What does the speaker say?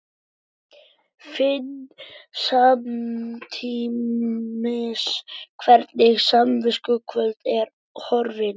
Finn samtímis hvernig samviskukvölin er horfin.